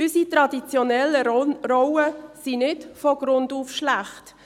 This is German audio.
Unsere traditionellen Rollen sind nicht von Grund auf schlecht.